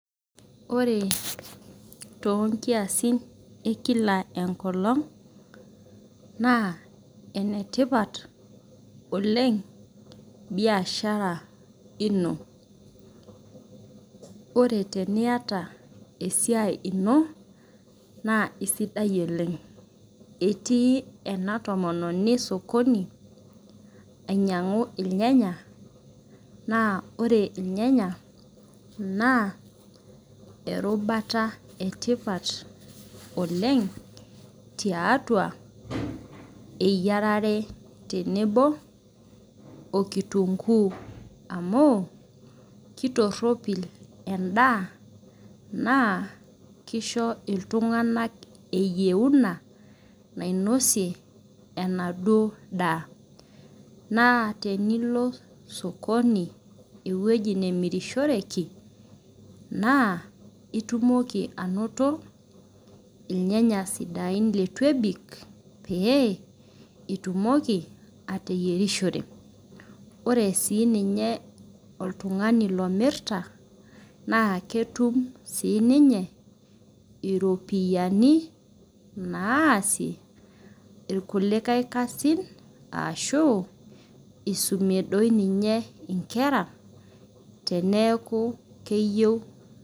Ore tonkiasin ekila enkolong na enetipat oleng biashara ino ore teniata esiai ino na sidai oleng etii enatomononi osokoni ainyangu irnyanya na ore irnyanya na erubata etipat oleng tiatua eyiarare tenebo okitunguu amu kitoropil endaa na kisho ltunganak eyieuna nainosie enaduo daa na tenilo olosokoni ewoi namirishoreki na itumoki anoto irnyanya sidain lituebik pee itumoki ateyierishore, ore ai oltungani omirakita na ketukbsininye iropiyiani naasie irkulikae kasin ashu isumie nkera teneaku keyieu.